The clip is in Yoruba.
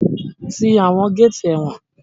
Ti àwọn géétì ẹ̀wọ̀n!